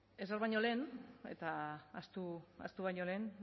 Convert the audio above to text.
ezer baino lehen eta ahaztu baino lehen